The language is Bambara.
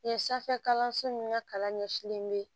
Yen sanfɛ kalanso nunnu ka kalan ɲɛsinlen be